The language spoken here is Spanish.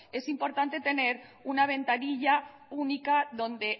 es importante tener una ventanilla única donde